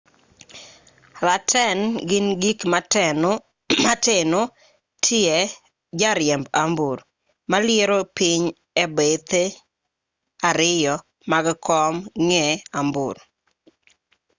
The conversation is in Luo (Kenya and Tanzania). raten gin gik mateno tie jariemb ambuor maliero piny e bethe ariyo mag komb ng'e ambuor